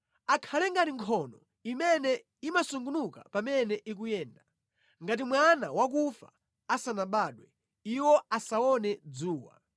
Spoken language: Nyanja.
Akhale ngati nkhono imene imasungunuka pamene ikuyenda; ngati mwana wakufa asanabadwe, iwo asaone dzuwa.